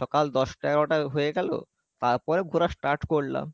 সকাল দশটা এগারোটা হয়ে গেলো, তারপরে ঘোরা start করলাম